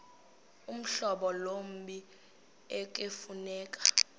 uhlobo lommi ekufuneka